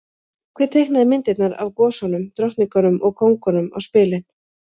Hver teiknaði myndirnar af gosunum, drottningunum og kóngunum á spilin?